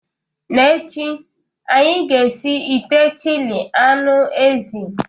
N'echi, anyị ga-esi ite chili anụ ezi